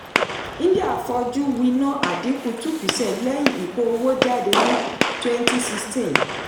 india fọjú wina àdínkù two percent lẹ́yìn ìkó owó jade ní twenty sixteen.